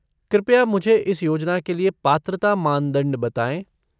कृपया मुझे इस योजना के लिए पात्रता मानदंड बताएँ।